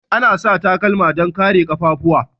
Ana sa takalma don kare kaffafuwa.